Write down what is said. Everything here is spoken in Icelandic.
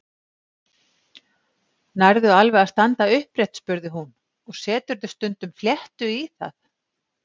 Nærðu alveg að standa upprétt? spurði hún og Seturðu stundum fléttu í það?